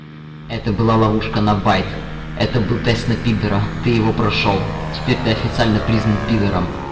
это была ловушка на байт это был тест на пидора ты его прошёл теперь ты официально признан пидором